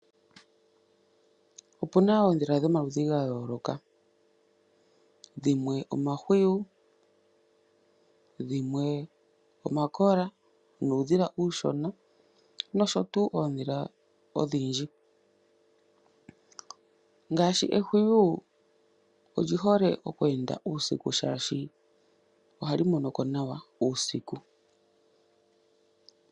Opuna oondhila dhomaludhi ga yooloka. Dhimwe omahwiyu, dhimwe omakola nuudhila uushona nosho tuu oondhila odhindji. Ngaashi ehwiyu oli hole oku enda uusiku shaashi oha li mono ko nawa uusiku.